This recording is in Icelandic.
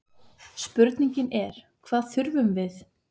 Spurningin er hvað þurfum við?